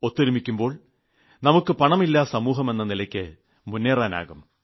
ഒത്തൊരുമിക്കുമ്പോൾ നമുക്ക് പണമില്ലാസമൂഹമെന്ന നിലയിലേയ്ക്ക് മുേന്നറാനാകും